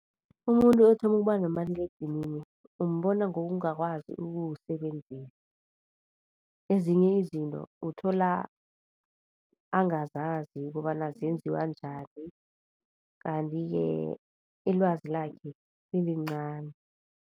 Umuntu othoma ukuba nomaliledinini, umbona ngokungakwazi ukuwusebenzisa. Ezinye izinto uthola angazazi kobana zenziwa njani, kanti-ke ilwazi lakhe lilincani.